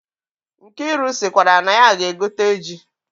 Nkiru sikwara na ya ga-egote ji.